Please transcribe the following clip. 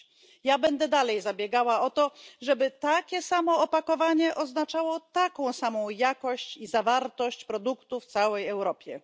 Dalej będę zabiegała o to, żeby takie samo opakowanie oznaczało taką samą jakość i zawartość produktu w całej Europie.